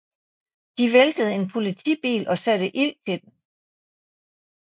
De væltede en politibil og satte ild til den